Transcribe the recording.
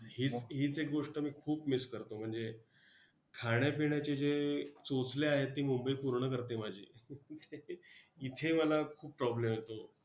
हीच, हीच एक गोष्ट मी खूप miss करतो! म्हणजे, खाण्यापिण्याचे जे चोचले आहेत ते मुंबई पूर्ण करते माझी, इथे मला खूप problem येतो.